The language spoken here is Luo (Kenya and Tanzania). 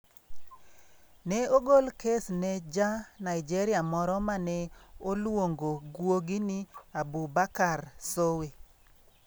Ne ogol kes ne Ja - Nigeria moro ma noluongo guogi ni Abubakar Sowe.